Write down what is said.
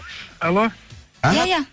алло иә иә